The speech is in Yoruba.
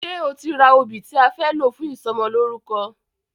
Ṣe o ti ra obì tí a fẹ́ lò fún ìsọmọlórúkọ?